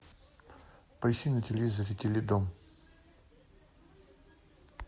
поищи на телевизоре теледом